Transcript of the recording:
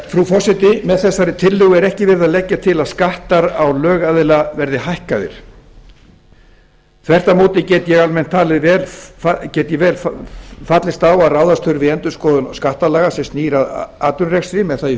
frú forseti með þessari tillögu er ekki verið að leggja til að skattar á lögaðila verði hækkaðir þvert á móti get ég almennt talið vel fallist á að ráðast þurfi í endurskoðun skattalaga sem snýr að atvinnurekstri með það í